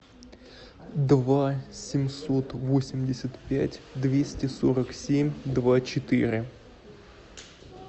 два семьсот восемьдесят пять двести сорок семь два четыре